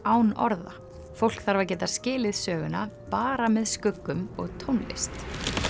án orða fólk þarf að geta skilið söguna bara með skuggum og tónlist